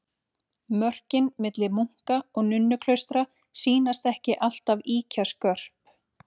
Mörkin milli munka- og nunnuklaustra sýnast ekki alltaf ýkja skörp.